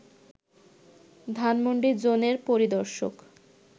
ধানমণ্ডি জোনের পরিদর্শক